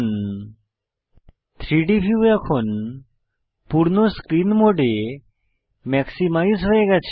3ডি ভিউ এখন পূর্ণ স্ক্রিন মোডে ম্যাক্সিমাইজ হয়ে গেছে